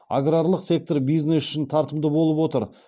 аграрлық сектор бизнес үшін тартымды болып отыр